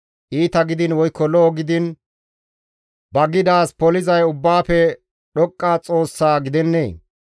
Iita gidiin woykko lo7o gidiin ba gidaaz polizay Ubbaafe Dhoqqa Xoossaa gidennee?